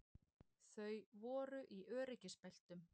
Þau voru í öryggisbeltum